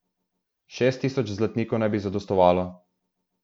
Šest tisoč zlatnikov naj bi zadostovalo.